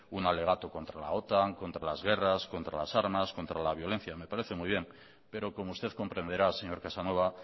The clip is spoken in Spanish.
un alegato contra la otan contra las guerras contra las armas contra la violencia me parece muy bien pero como usted comprenderá señor casanova